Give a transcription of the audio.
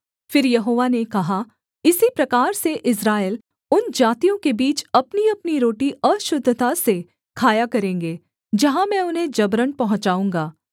फिर यहोवा ने कहा इसी प्रकार से इस्राएल उन जातियों के बीच अपनीअपनी रोटी अशुद्धता से खाया करेंगे जहाँ में उन्हें जबरन पहुँचाऊँगा